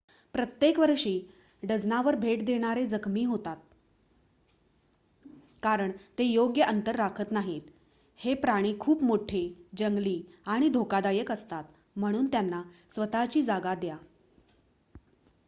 प्रत्येक वर्षी डझनावर भेट देणारे जखमी होतात कारण ते योग्य अंतर राखत नाहीत. हे प्राणी खूप मोठे जंगली आणि धोकादायक असतात म्हणून त्यांना स्वत:ची जागा द्या